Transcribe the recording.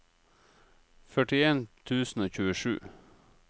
førtien tusen og tjuesju